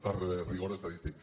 per rigor estadístic